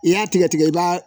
I y'a tigɛ tigɛ i b'a